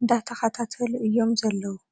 እንዳተኽታተሉ እዩም ዘለዉ ።